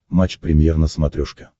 матч премьер на смотрешке